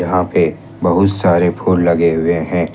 यहां पे बहुत सारे फूल लगे हुए हैं ।